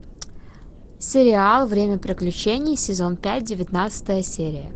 сериал время приключений сезон пять девятнадцатая серия